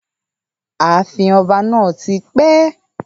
Ààfin ọba náà ti pẹ́